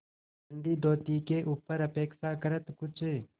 गंदी धोती के ऊपर अपेक्षाकृत कुछ